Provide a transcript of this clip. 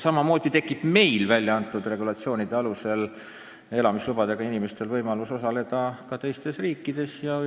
Samamoodi tekib meil regulatsioonide alusel väljaantud elamislubadega inimestel võimalus minna teistesse riikidesse.